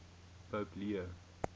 pope leo